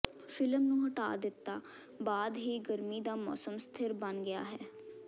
film ਨੂੰ ਹਟਾ ਦਿੱਤਾ ਬਾਅਦ ਹੀ ਗਰਮੀ ਦਾ ਮੌਸਮ ਸਥਿਰ ਬਣ ਗਿਆ ਹੈ